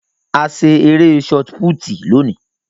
A ṣe eré shotput lóni.